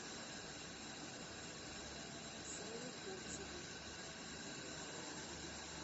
сане кобзеву